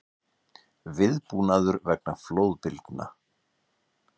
Viðbúnaður vegna flóðbylgna